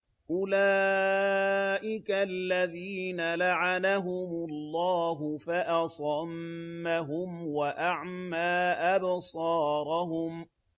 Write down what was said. أُولَٰئِكَ الَّذِينَ لَعَنَهُمُ اللَّهُ فَأَصَمَّهُمْ وَأَعْمَىٰ أَبْصَارَهُمْ